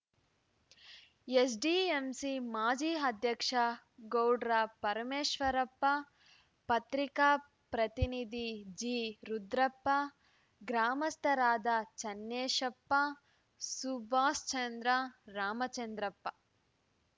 SDMC ಮಾಜಿ ಅಧ್ಯಕ್ಷ ಗೌಡ್ರ ಪರಮೇಶ್ವರಪ್ಪ ಪತ್ರಿಕಾ ಪ್ರತಿನಿಧಿ ಜಿರುದ್ರಪ್ಪ ಗ್ರಾಮಸ್ಥರಾದ ಚನ್ನೇಶಪ್ಪ ಸುಭಾಷ್‌ ಚಂದ್ರ ರಾಮಚಂದ್ರಪ್ಪ